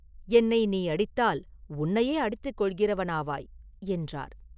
என்னை நீ அடித்தால் உன்னையே அடித்துக் கொள்கிறவனாவாய்!” என்றார்.